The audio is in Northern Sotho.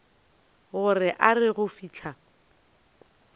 gore a re go fihla